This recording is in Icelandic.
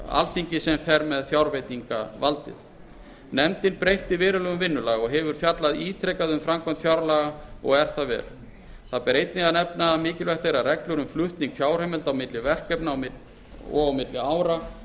sem fer með fjárveitingavaldið nefndin breytti verulega um vinnulag og hefur fjallað ítrekað um framkvæmd fjárlaga það er vel það ber einnig að nefna að mikilvægt er að reglur um flutning fjárheimilda á milli verkefna og á milli ára